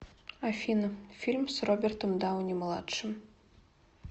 афина фильм с робертом дауни младшим